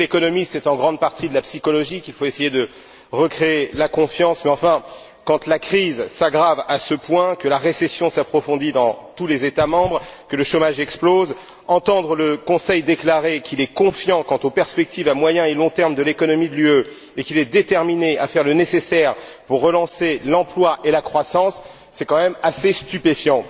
Je sais que l'économie est en grande partie de la psychologie, qu'il faut essayer de recréer la confiance, mais enfin, quand la crise s'aggrave à ce point, que la récession s'approfondit dans tous les États membres, que le chômage explose, entendre le Conseil déclarer qu'il est confiant quant aux perspectives à moyen et long terme pour l'économie de l'UE et qu'il est déterminé à faire le nécessaire pour relancer l'emploi et la croissance, c'est quand même assez stupéfiant.